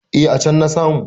Eh a can na samu.